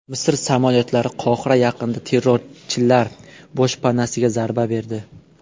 Misr samolyotlari Qohira yaqinida terrorchilar boshpanasiga zarba berdi.